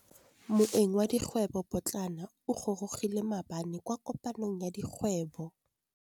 Moêng wa dikgwêbô pôtlana o gorogile maabane kwa kopanong ya dikgwêbô.